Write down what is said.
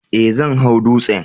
Ee, zan hau dutsen